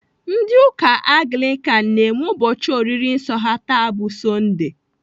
Ndị ụka Anglikan na-eme ụbọchị oriri nsọ ha taa bụ sondee.